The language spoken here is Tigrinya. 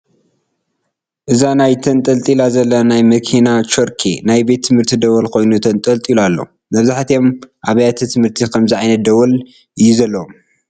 እዛ ናይ ተንጠልጢላ ዘላ ናይ መኪና ቾርኬ ናይ ቤት ትምህርቲ ደወል ኮይኑ ተንጠልጢሉ ኣሎ፡፡ መብዛሕትኦም ኣብያተ ትምህርቲ ከምዚ ዓይነት ደወል እዩ ዘለዎም፡፡